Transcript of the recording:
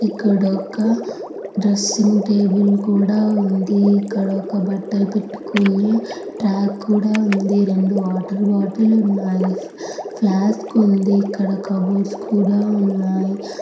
ఇక్కడొక dressing table కూడా ఉంది. ఇక్కడ ఒక బట్టలు పెట్టుకోనే రాక్ కూడా ఉంది. రెండు వాటర్ బాటిల్ లు ఉన్నాయి. ఫ్లాస్క్ ఉంది. ఇక్కడ బోర్డ్స్ కూడా ఉన్నాయి.